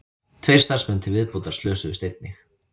Tveir starfsmenn til viðbótar slösuðust einnig